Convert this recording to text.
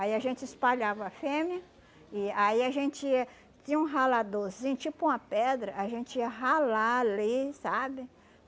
Aí a gente espalhava a fêmea e aí a gente tinha um raladorzinho, tipo uma pedra, a gente ia ralar ali, sabe?